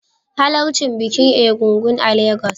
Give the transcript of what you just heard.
Halarci bikin Egúngún a Legas